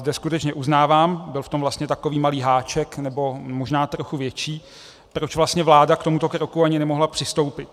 Zde skutečně uznávám, byl v tom vlastně takový malý háček, nebo možná trochu větší, proč vlastně vláda k tomuto kroku ani nemohla přistoupit.